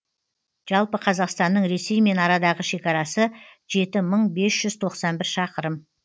жалпы қазақстанның ресеймен арадағы шекарасы жеті мың бес жүз тоқсан бір шақырым